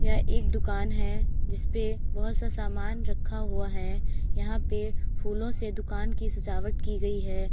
यह एक दुकान है जिसपे बहुत सा सामान रखा हुआ है। यहाँ पे फूलों से दुकान की सजावट की गयी है।